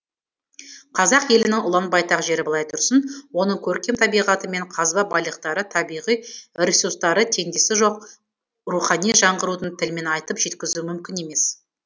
қазақ елінің ұлан байтақ жері былай тұрсын оның көркем табиғаты мен қазба байлықтары табиғи ресурстары теңдесі жоқ рухани жанғырудың тілімен айтып жеткізу мүмкін емес